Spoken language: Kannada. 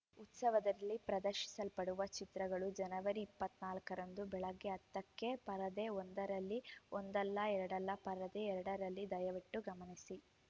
ಉತ್ಸವದಲ್ಲಿ ಪ್ರದರ್ಶಿಸಲ್ಪಡುವ ಚಿತ್ರಗಳು ಜನವರಿ ಇಪ್ಪತ್ತ್ ನಾಲ್ಕರಂದು ಬೆಳಗ್ಗೆ ಹತ್ತಕ್ಕೆ ಪರದೆ ಒಂದರಲ್ಲಿ ಒಂದಲ್ಲಾ ಎರಡಲ್ಲಾ ಪರದೆ ಎರಡರಲ್ಲಿ ದಯವಿಟ್ಟು ಗಮನಿಸಿ